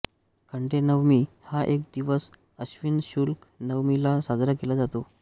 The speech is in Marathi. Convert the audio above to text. खंडेनवमी हा दिवस आश्विन शुक्ल नवमीला साजरा केला जातो